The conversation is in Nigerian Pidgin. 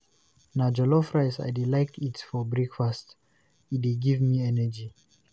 Na jollof rice I dey like eat for breakfast, e dey give me energy.